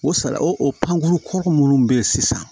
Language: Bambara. O sala o pankurun kɔrɔ minnu be yen sisan